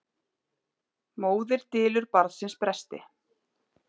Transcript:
Móðir dylur barnsins bresti.